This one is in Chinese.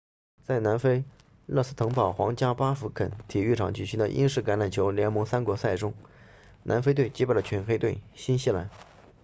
在南非勒斯滕堡 rustenburg 皇家巴福肯体育场举行的英式橄榄球联盟三国赛中南非队击败了全黑队新西兰